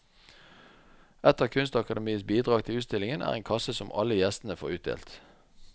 Et av kunstakademiets bidrag til utstillingen er en kasse som alle gjestene får utdelt.